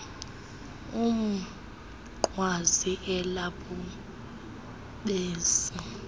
umnqwazi ela bhubesi